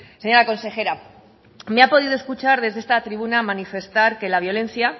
señora consejera me ha podido escuchar desde esta tribuna manifestar que la violencia